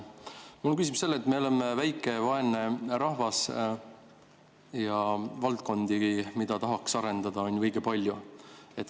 Mul on küsimus selle kohta, et me oleme väike ja vaene rahvas ja valdkondi, mida tahaks arendada, on õige palju.